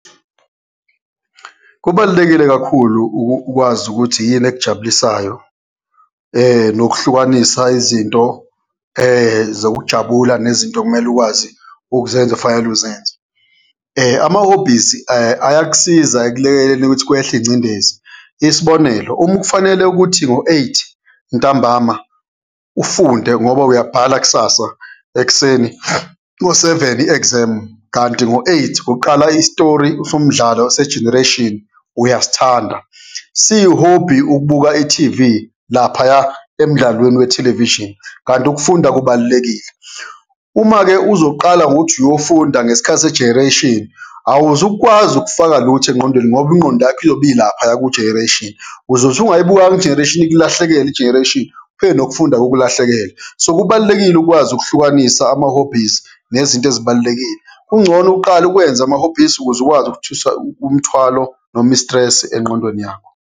Kubalulekile kakhulu ukwazi ukuthi yini ekujabulisayo nokuhlukanisa izinto zokujabula, nezinto okumele ukwazi ukuzenza ufanele uzenzele. Ama-hobbies ayakusiza ekulekeleleni ukuthi kwehle ingcindezi, isibonelo, uma kufanele ukuthi ngo-eight ntambama ufunde ngoba uyabhala kusasa ekuseni ngo-seven i-exam, kanti ngo-eight kuqala isitori somdlalo se-Generation, uyasithanda. Siyi-hobby ukubuka ithivi laphaya emdlalweni we-television, kanti ukufunda kubalulekile. Uma-ke uzoqala ngokuthi uyofunda ngesikhathi se-Generation, awuzukwazi ukufaka lutho engqondweni, ngoba ingqondo yakho iyobe ilaphaya ku-Generation. Uzothi ungayibukanga i-Generation, ikulahlekele i-Generation, ufike nokufunda kukulahlekele. So, kubalulekile ukwazi ukuhlukanisa ama-hobbies nezinto ezibalulekile. Kungcono uqale ukwenza ama-hobbies ukuze ukwazi ukuthusa umthwalo noma i-stress engqondweni yakho.